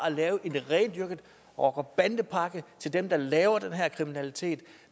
at lave en rendyrket rocker bande pakke til dem der laver den her kriminalitet